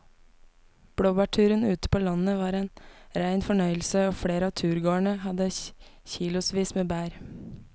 Blåbærturen ute på landet var en rein fornøyelse og flere av turgåerene hadde kilosvis med bær.